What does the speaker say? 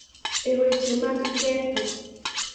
e weche mag ketho